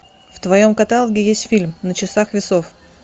в твоем каталоге есть фильм на часах весов